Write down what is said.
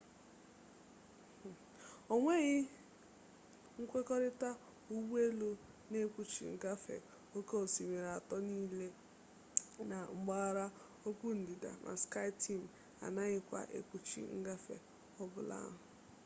onweghi nkwekorita ụgbọ elu na-ekpuchi ngafe oke osimiri atọ niile na mpaghara okpu ndịda ma skyteam anaghịkwa ekpuchi ngafe ọ bụla ahụ